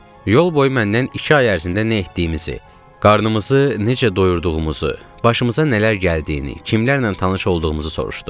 Yol boyu məndən iki ay ərzində nə etdiyimizi, qarnımızı necə doyurduğumuzu, başımıza nələr gəldiyini, kimlərlə tanış olduğumuzu soruşdu.